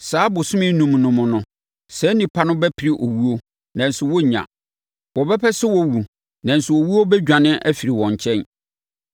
Saa abosome enum no mu no, saa nnipa no bɛpere owuo, nanso wɔrennya. Wɔbɛpɛ sɛ wɔwu, nanso owuo bɛdwane afiri wɔn nkyɛn.